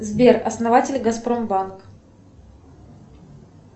сбер основатель газпромбанк